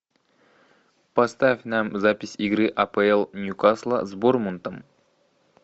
поставь нам запись игры апл ньюкасла с борнмутом